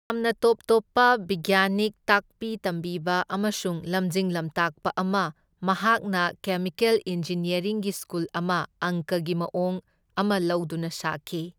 ꯌꯥꯝꯅ ꯇꯣꯞ ꯇꯣꯞꯄ ꯕꯤꯒꯌꯥꯅꯤꯛ, ꯇꯥꯛꯄꯤ ꯇꯝꯕꯤꯕ ꯑꯃꯁꯨꯡ ꯂꯝꯖꯤꯡ ꯂꯝꯇꯥꯛꯄ ꯑꯃ, ꯃꯍꯥꯛꯅ ꯀꯦꯃꯤꯀꯦꯜ ꯏꯟꯖꯤꯅꯤꯌꯥꯔꯤꯡꯒꯤ ꯁ꯭ꯀꯨꯜ ꯑꯃ ꯑꯪꯀꯒꯤ ꯃꯋꯣꯡ ꯑꯃ ꯂꯧꯗꯨꯅ ꯁꯥꯈꯤ꯫